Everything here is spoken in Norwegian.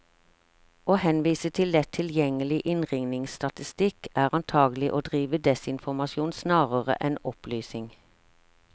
Å henvise til lett tilgjengelig innringningsstatistikk, er antagelig å drive desinformasjon snarere enn opplysning.